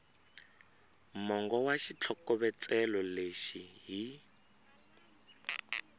mongo wa xitlhokovetselo lexi hi